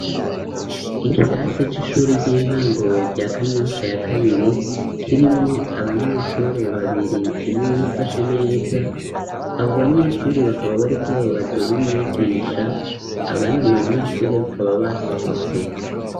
Ikirase c'ishure ry'intango rya kanyosha ya kabiri kirimwo abanyeshure babiri umwe yifashe neza, abo banyeshure bakaba bariko bababazwe n'umwigisha abandi banyeshure bakaba basohotse.